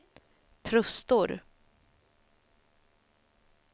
Trustor